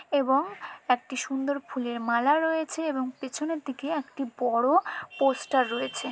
এবং একটি সুন্দর ফুলের মালা রয়েছে এবং পেছনের দিকে একটি বড়ো পোস্টার রয়েছে।